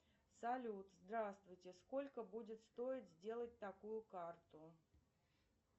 салют здравствуйте сколько будет стоить сделать такую карту